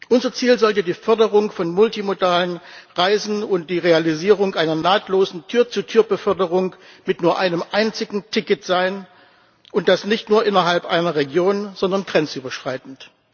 Unser Ziel sollte die Förderung von multimodalen Reisen und die Realisierung einer nahtlosen Tür zu Tür Beförderung mit nur einem einzigen Ticket sein, und das nicht nur innerhalb einer Region, sondern grenzüberschreitend.